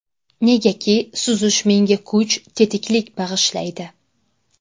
Negaki, suzish menga kuch, tetiklik bag‘ishlaydi.